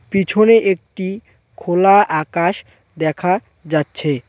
পিছনে একটি খোলা আকাশ দেখা যাচ্ছে।